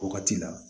O wagati la